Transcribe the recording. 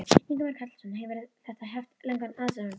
Ingimar Karl Helgason: Hefur þetta haft langan aðdraganda?